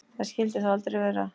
Það skyldi þó aldrei vera?